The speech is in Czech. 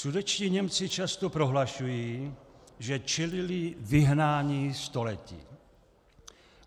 Sudetští Němci často prohlašují, že čelili vyhnání století.